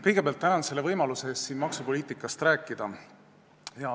Kõigepealt tänan võimaluse eest siin maksupoliitikast rääkida.